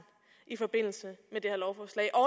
i forbindelse med det her lovforslag og